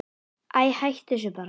Æi, hættu þessu bara.